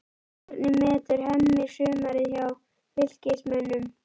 Hvernig metur Hemmi sumarið hjá Fylkismönnum?